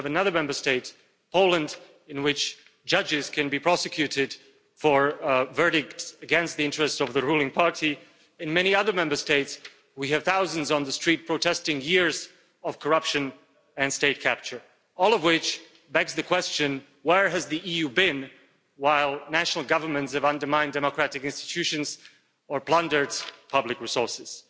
we have another Member State Poland in which judges can be prosecuted for a verdict against the interests of the ruling party and, in many other Member States, we have thousands on the street protesting against years of corruption and state capture, all of which begs the question where has the EU been while national governments have undermined democratic institutions or plundered public resources?